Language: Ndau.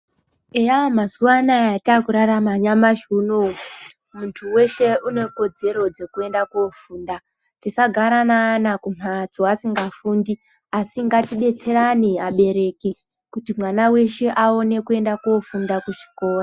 Eya mazuva atakurarama nyamashi unowu muntu weshe ane kodzero dzekuenda kofunda tisagara neana kumbatso tiisngafundi asi ngatidetserane abereki kuti ana eshe aone kuenda kofunda kuzvikora.